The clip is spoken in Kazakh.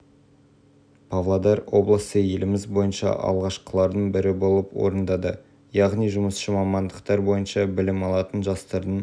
техникалық технологиялық ауыл шаруашылығы мамандықтарына берілген мемлекет басшысының тегін кәсіби-техникалық білім беруді қамтамасыз ету тапсырмасын